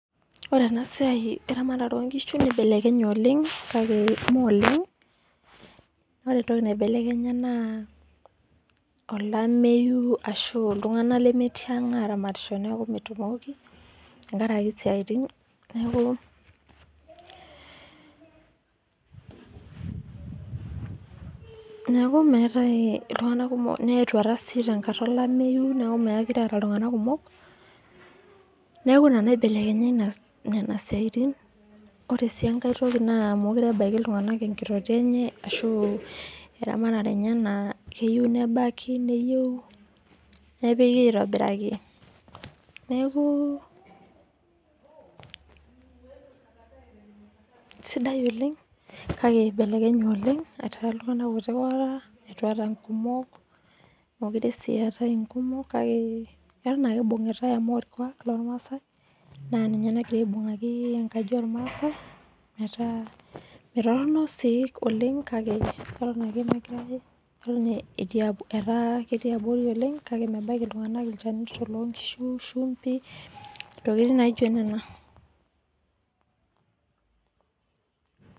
Ore enasiai eramatare onkishu nibelekenye oleng , ore entoki naibelekenya naa olameyu ashu iltunganak lemetii ang aramatisho niaku metumoki tenkraki siatin niaku ,niaku meetae iltunganak kumok netuata sii tenkata olameyu niaku mokire eeta iltunganak kumok , niaku ina naiblekenya inasiai , ore sii enkae toki naa moire ebaiki iltunganak enkitotio enye ashu eramatare enye naa keyieu nebaki , neyiu nepiki aitobiraki , neku sidai oleng kake ibelekenye oleng ,kake eton ake ibungitae amu orkwak lormaasae naa ninye nagira aibungaki enkaji ormaasae .